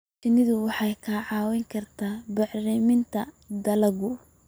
Shinnidu waxay kaa caawin kartaa bacriminta dalagga.